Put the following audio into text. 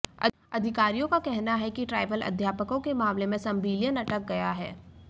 अधिकारियों का कहना है कि ट्राइबल अध्यापकों के मामले में संविलियन अटक गया है